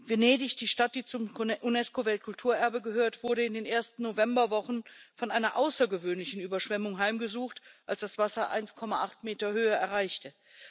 Venedig, die Stadt, die zum Unesco Weltkulturerbe gehört, wurde in den ersten Novemberwochen von einer außergewöhnlichen Überschwemmung heimgesucht, als das Wasser 1,80 Meter Höhe erreichte.